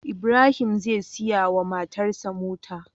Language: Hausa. Ibrahim zai siya wa matar shi mota